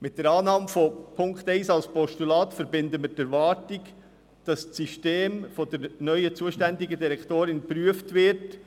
Mit der Annahme von Punkt 1 als Postulat verbinden wir die Erwartung, dass das System von der neuen zuständigen Direktorin geprüft wird.